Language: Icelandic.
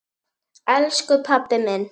Elsku pabbi minn.